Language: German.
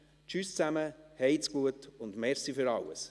Tschüss zäme, heits guet und merci für alles!».